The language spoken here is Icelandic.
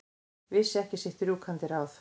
Vissi ekki sitt rjúkandi ráð.